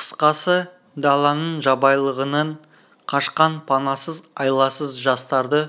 қысқасы даланың жабайылығынан қашқан панасыз айласыз жастарды